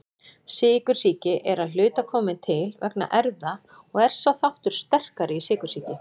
Sykursýki er að hluta komin til vegna erfða og er sá þáttur sterkari í sykursýki.